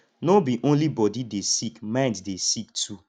no be only body de sick mind de dey sick too